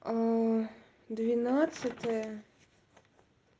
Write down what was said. ээ двенадцатое